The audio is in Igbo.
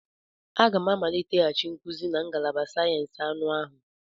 Aga m a amaliteghachi nkuzi na ngalaba sayensị anụ ahụ.